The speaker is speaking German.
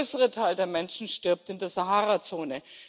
Denn der größere Teil der Menschen stirbt in der Saharazone.